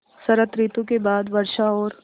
शरत ॠतु के बाद वर्षा और